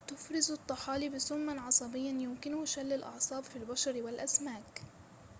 تفرز الطحالب سماً عصبياً يمكنه شل الأعصاب في البشر والأسماك